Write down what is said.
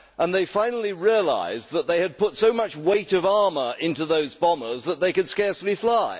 They finally realised that they had put so much weight of armour into those bombers that they could scarcely fly.